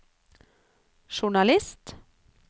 journalist